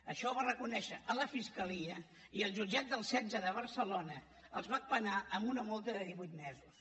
això ho va reconèixer a la fiscalia i el jutjat setze de barcelona els va penar amb una multa de divuit mesos